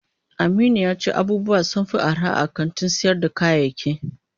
Aminu yace abubuwa sunfi arha a kantin sayar da kayayaki.